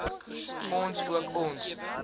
ons ook ons